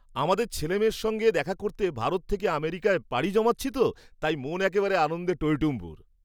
আমাদের ছেলেমেয়ের সঙ্গে দেখা করতে ভারত থেকে আমেরিকায় পাড়ি জমাচ্ছি তো, তাই মন একেবারে আনন্দে টইটম্বুর।